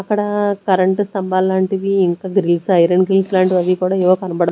అక్కడా కరెంట్ స్తంభాలాంటివి ఇంకా గ్రిల్స్ ఐరన్ గ్రిల్స్ లాంటివి అవి కుడా ఎవో కనపడుత్--